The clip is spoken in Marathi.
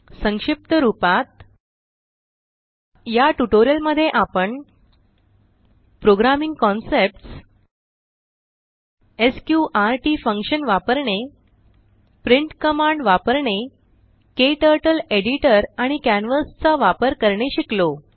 संक्षिप्त रूपात या ट्यूटोरियल मध्ये आपण प्रोग्रामिंग कंसेप्ट एसक्यूआरटी फंक्शन वापरणे प्रिंट कमांड वापरणे क्टर्टल एडिटर आणि कॅनव्हास चा वापर करणे शिकलो